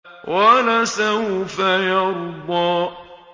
وَلَسَوْفَ يَرْضَىٰ